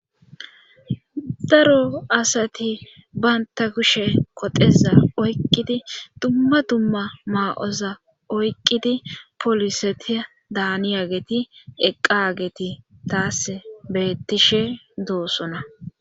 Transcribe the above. Daro asati baynta kushe koteza oyqqidi dumma dumma maa'oza oyqqidi poliseti daaniyageti eqqageti taas beettishe doossona